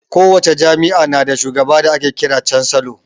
Kowace jami'a na da shugaba da ake kiran da cansalo